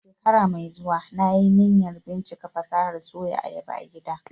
A shekara mai zuwa, na yi niyyar bincika fasahar Soya ayaba a gida